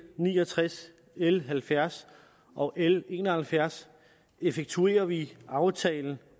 ni og tres l halvfjerds og l en og halvfjerds effektuerer vi aftalen